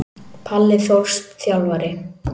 Palli Þórs Þjálfari.